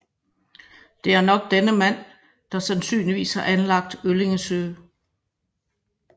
Det er nok denne mand der sandsynligvis har anlagt Øllingsøe